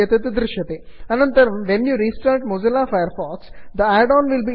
add on downloading progress bar add on downloading progress bar इत्येतत् दृश्यते